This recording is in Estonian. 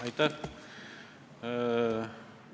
Aitäh!